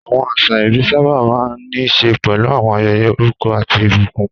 Àwọn àṣà ìbí sábà máa ń ní í ṣe pẹ̀lú àwọn ayẹyẹ orúkọ àti ìbùkún.